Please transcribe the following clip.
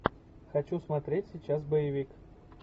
хочу смотреть сейчас боевик